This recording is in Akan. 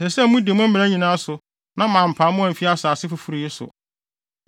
“ ‘Ɛsɛ sɛ mudi me mmara nyinaa so na mampam mo amfi mo asase foforo yi so.